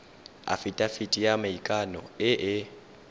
afitafiti ya maikano e e